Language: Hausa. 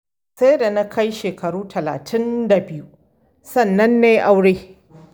Sai da na kai shekaru talatin da biyu sannan na yi aure.